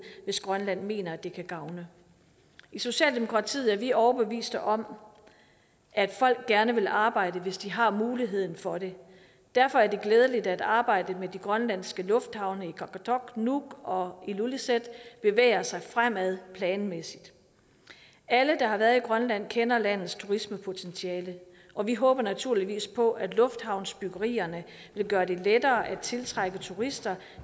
hvis grønland mener at det kan gavne i socialdemokratiet er vi overbevist om at folk gerne vil arbejde hvis de har muligheden for det derfor er det glædeligt at arbejdet med de grønlandske lufthavne i qaqortoq nuuk og ilulissat bevæger sig fremad planmæssigt alle der har været i grønland kender landets turismepotentiale og vi håber naturligvis på at lufthavnsbyggerierne vil gøre det lettere at tiltrække turister